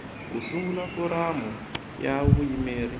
ku sungula foramu ya vuyimeri